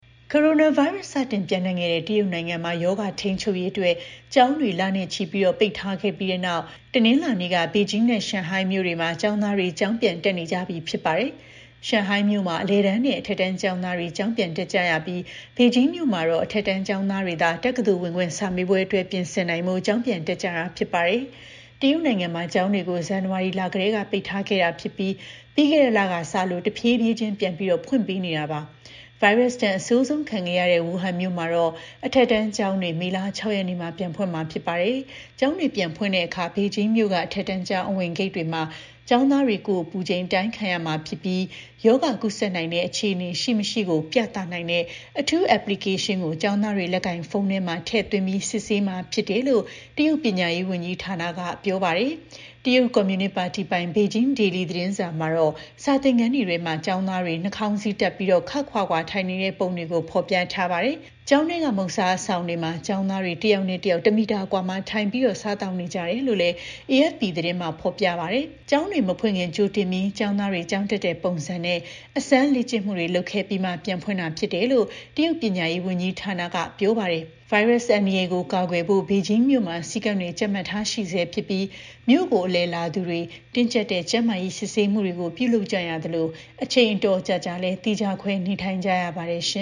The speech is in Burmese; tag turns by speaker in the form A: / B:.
A: ကိုရိုနာဗိုင်းရပ်စ် စတင်ပျံ့နှံ့ခဲ့တဲ့ တရုတ်နိုင်ငံမှာ ရောဂါ ထိန်းချုပ်ရေးအတွက် ကျောင်းတွေ လနဲ့ချီ ပိတ်ထားခဲ့ပြီးတဲ့နောက် တနင်္လာနေ့က ဘေဂျင်းနဲ့ ရှန်ဟိုင်းမြို့တွေမှာ ကျောင်းတွေ ပြန်ဖွင့်နေပါပြီ။ ရှန်ဟိုင်းမြို့မှာ အလယ်တန်းနဲ့ အထက်တန်း ကျောင်းသားတွေ ကျောင်းပြန်တက်ကြရပြီး ဘေဂျင်းမြို့မှာတော့ အထက်တန်းကျောင်းသားတွေသာ တက္ကသိုလ်ဝင်ခွင့် စာမေးပွဲအတွက် ပြင်ဆင်နိုင်ဖို့ ကျောင်းပြန်တက်ကြတာပါ။ တရုတ်နိုင်ငံမှာ ကျောင်းတွေကို ဇန်နဝါရီလကတည်းက ပိတ်ထားခဲ့တာဖြစ်ပြီး ပြီးခဲ့တဲ့လကစလို့ တဖြည်းဖြည်းချင်း ပြန်ဖွင့်ပေးနေတာပါ။ ဗိုင်းရပ်စ်ဒဏ်အဆိုးဆုံးခံရတဲ့ ဝူဟန်မြို့မှာတော့ အထက်တန်းကျောင်းတွေ မေလ ၆ ရက်နေ့မှာ ပြန်ဖွင့်မှာ ဖြစ်ပါတယ်။ ဘေဂျင်းမြို့တော်က ကျောင်းသားတွေကိုတော့ ကျောင်းအဝင်ဂိတ်ပေါက်မှာ ကိုယ်ပူချိန်တိုင်းတာစစ်ဆေးမှာဖြစ်ပြီး ရောဂါကူးစက်နိုင်တဲ့အခြေအနေ ရှိ၊ မရှိကို ပြသနိုင်တဲ့ အထူးအက်ပလီကေးရှင်းကို ကျောင်းသားတွေ လက်ကိုင်ဖုန်းမှာ ထည့်သွင်းပြီး စစ်ဆေးမှာ ဖြစ်တယ်လို့လည်း တရုတ်ပညာရေးဝန်ကြီးဌာနက ပြောပါတယ်။ တရုတ်ကွန်မြူနစ်ပါတီပိုင် ဘေဂျင်း Daily သတင်းစာမှာတော့ စာသင်ခန်းတွေထဲ ကျောင်းသားတွေ နှာခေါင်းစည်း တပ်ပြီး ခပ်ခွာခွာ ထိုင်နေတဲ့ ပုံတွေကို ဖော်ပြထားပါတယ်။ ကျောင်းထဲက စားသောက်ဆိုင်တွေမှာ ကျောင်းသားတွေ တယောက်နဲ့ တယောက် တစ်မီတာ အကွာမှာ ထိုင်ပြီး စားသောက်နေကြတယ်လို့လည်း အေအက်ဖ်ပီ သတင်းမှာဖော်ပြပါတယ်။ ကျောင်းတွေ မဖွင့်ခင် ကြိုတင်ပြီး ကျောင်းသားတွေ ကျောင်းတက်တဲ့ပုံစံနဲ့ အစမ်းလေ့ကျင့်မှုတွေ လုပ်ခဲ့ပြီးမှ ပြန်ဖွင့်တာလို့ တရုတ်ပညာရေးဝန်ကြီးဌာနက ပြောပါတယ်။ ဗိုင်းရပ်စ် အန္တရာယ်ကို ကာကွယ်ဖို့ ဘေဂျင်းမြို့မှာ စည်းကမ်းတွေ ကြပ်မတ်ထားရှိဆဲဖြစ်ပြီး မြို့ကို အလည်လာသူတွေ တင်းကြပ်တဲ့ ကျန်းမာရေး စစ်ဆေးမှုတွေပြုလုပ်ကြရသလို အချိန်တော်တော်ကြာကြာလည်း သီးခြားခွဲနေထိုင်ကြရပါတယ် ရှ